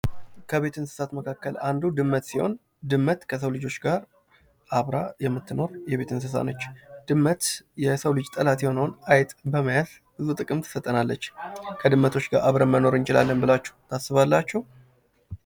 ከቤት እንስሳቶች መካከል አንዱ ድመት ነው። ከልጆች ጋር አብራ የምትኖ የቤት እንስሳ ነች። ድመት የሰው ልጅ ጠላት የሆነውን ድመት በመያዝ ብዙ ጥቅ ትሰጠናለች። ከድመቶች ጋር አብረን መኖር እንችላለን ብላችሁ ታስባላችሁ?